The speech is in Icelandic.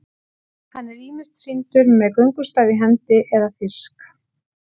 Hann er ýmist sýndur með göngustaf í hendi eða fisk.